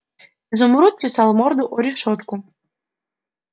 изумруд чесал морду о решётку